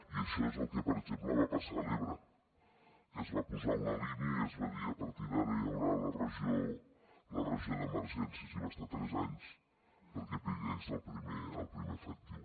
i això és el que per exemple va passar a l’ebre que es va posar una línia i es va dir a partir d’ara hi haurà la regió d’emergències i va estar tres anys perquè hi hagués el primer efectiu